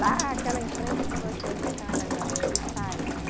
Lá, aquela em frente que vocês estão olhando aí, é de taipa.